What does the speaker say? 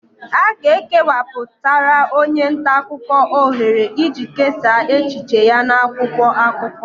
A ga-ekewapụtara onye nta akụkọ ohere iji kesaa echiche ya n'akwụkwọ akụkọ